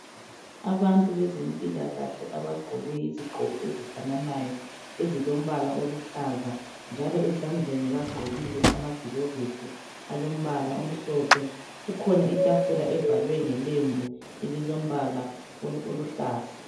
Abantu bezempilakahle abagqoke izigqoko ezifananayo ezilombala oluhlaza njalo ezandleni bagqokile amagilovisi alombala omhlophe. Kukhona itafula evalwe ngelembu elilombala oluhlaza.